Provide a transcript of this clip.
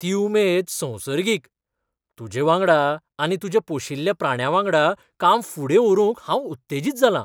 ती उमेद संसर्गीक ! तूजेवांगडा आनी तुज्या पोशिल्ल्या प्राण्यांवांगडा काम फुडें व्हरूंक हांव उत्तेजित जालां.